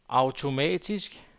automatisk